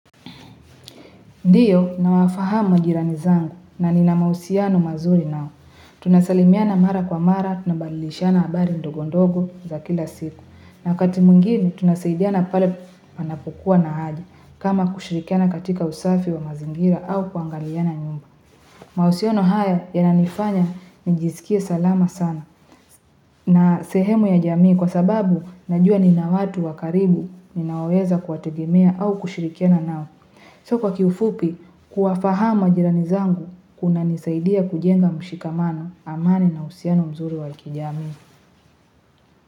Ndiyo na wafahamu jirani zangu na nina mahusiano mazuri nao Tunasalimiana mara kwa mara na balilishiana habari ndogondogo za kila siku na wakati mungini tunaseidiana pale panapokuwa na haja kama kushirikiana katika usafi wa mazingira au kuangaliana nyumba mahusiano haya yananifanya nijisikie salama sana na sehemu ya jamii kwa sababu najua nina watu wakaribu Ninaweza kuwategemea au kushirikiana nao So kwa kiufupi, kuwafahama jirani zangu kuna nisaidia kujenga mshikamano amani na uhusiano mzuri wa kijamii.